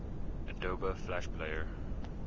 adobe flash player